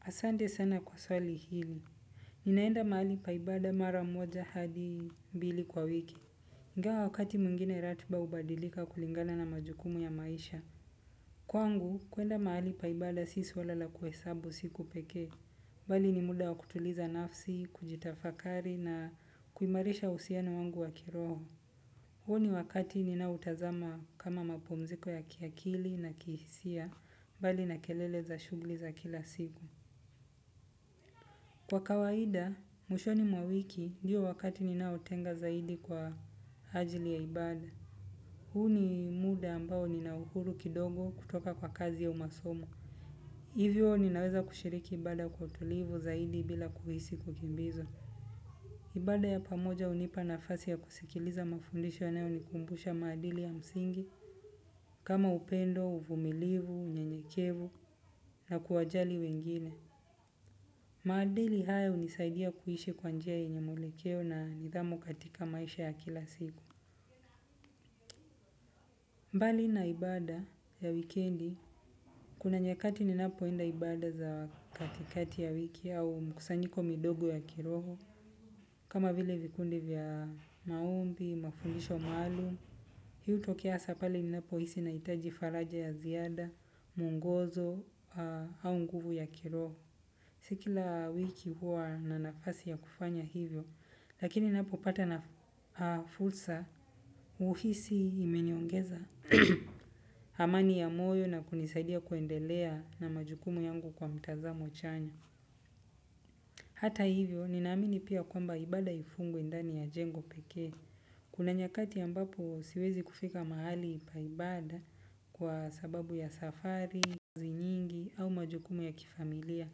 Asante sana kwa swali hili. Ninaenda mahali pa ibada mara moja hadi mbili kwa wiki. Ingawa wakati mwngine ratiba hubadilika kulingana na majukumu ya maisha. Kwangu, kuenda mahali pa ibada si swalala la kuhesabu siku pekee. Bali ni muda wa kutuliza nafsi, kujitafakari na kuimarisha uhusiana wangu wa kiroho. Huu ni wakati ninaoutazama kama mapumziko ya kiakili na kihisia mbali na kelele za shughli za kila siku. Kwa kawaida, mwishoni mwa wiki ndiyo wakati ninaotenga zaidi kwa ajili ya ibada. Huu ni muda ambao nina uhuru kidogo kutoka kwa kazi ya umasomo. Hivyo ninaweza shiriki ibada kwa utulivu zaidi bila kuhisi kukimbizwa. Ibada ya pamoja hunipa nafasi ya kusikiliza mafundisho yanayo nikumbusha maadili ya msingi kama upendo, uvumilivu, unyenyekevu na kuwajali wengine. Maadili hayo hunisaidia kuishi kwa njia yenye mwelekeo na nidhamu katika maisha ya kila siku. Mbali na ibada ya wikendi, kuna nyakati ninapo enda ibada za katikati ya wiki au mkusanyiko midogo ya kiroho. Kama vile vikundi vya maombi, mafundisho maalum hii hutokea hasa pale ninapohisi nahitaji faraja ya ziada mwongozo au nguvu ya kiroho. Si kila wiki huwa na nafasi ya kufanya hivyo lakini ninapo pata fursa, huhisi imeniongeza amani ya moyo na kunisaidia kuendelea na majukumu yangu kwa mtazamo chanya. Hata hivyo, ninaamini pia kwamba ibada haifungwi ndani ya jengo pekee. Kuna nyakati ambapo siwezi kufika mahali pa ibada kwa sababu ya safari, kazi nyingi au majukumu ya kifamilia.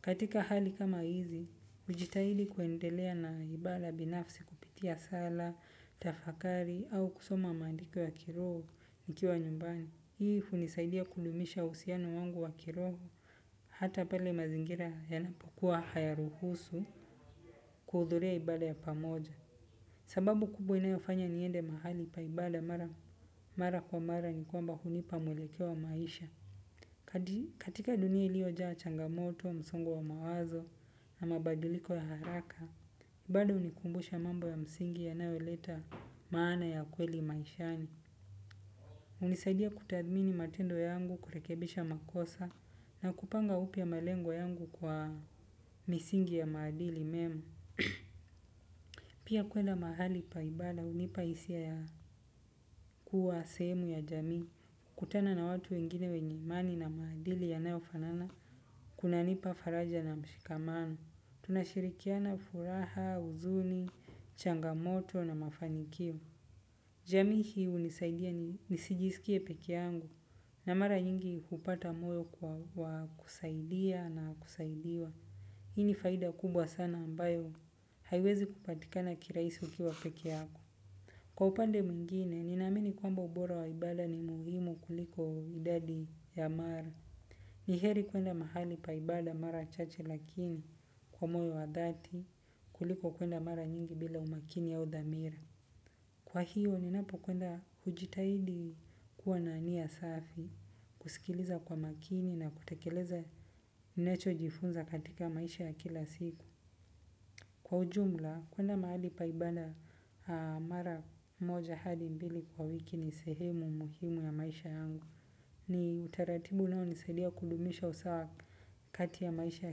Katika hali kama hizi, hujitahili kuendelea na ibada binafsi kupitia sala, tafakari au kusoma maandiko ya kiroho nikiwa nyumbani. Hii hunisaidia kudumisha uhusiano wangu wa kiroho. Hata pale mazingira yanapokuwa hayaruhusu kuhudhuria ibada ya pamoja. Sababu kubwa inayofanya niende mahali pa ibada mara kwa mara ni kwamba hunipa mwelekeo wa maisha. Katika dunia iliojaa changamoto, msongo wa mawazo na mabadiliko ya haraka bado hunikumbusha mambo ya msingi yanayo leta maana ya kweli maishani hunisaidia kutathmini matendo yangu kurekebisha makosa na kupanga upya malengo yangu kwa misingi ya maadili mema. Pia kwenda mahali pa ibada hunipa hisia ya kuwa sehemu ya jamui kutana na watu wengine wenye imani na maadili yanayofanana kuna nipa faraja na mshikamano. Tunashirikiana furaha, huzuni, changamoto na mafanikio. Jamii hii hunisaidia ni nisijisikie pekee yangu na mara nyingi hupata moyo kwa kusaidia na kusaidiwa. Hii ni faida kubwa sana ambayo haiwezi kupatikana kirahisi ukiwa peke yako. Kwa upande mwingine, nina amini kwamba ubora wa ibada ni muhimu kuliko idadi ya mara. Ni heri kwenda mahali pa ibada mara chache lakini kwa moyo wa dhati kuliko kuenda mara nyingi bila umakini au dhamira. Kwa hiyo ninapo kwenda hujitahidi kuwa na nia safi kusikiliza kwa makini na kutekeleza ninacho jifunza katika maisha ya kila siku. Kwa ujumla kuenda mahali pa ibada mara moja hadi mbili kwa wiki ni sehemu muhimu ya maisha yangu. Ni utaratibu unao nisaidia kudumisha usawa kati ya maisha ya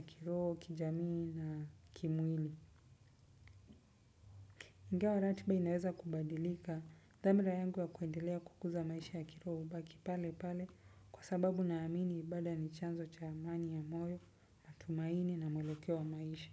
kirobo, kijamii na kimwili. Ingawa ratiba inaweza kubadilika, dhamira yangu ya kuendelea kukuza maisha ya kiroho hubaki pale pale kwa sababu naamini ibada ni chanzo cha amani ya moyo, matumaini na mwelekeo wa maisha.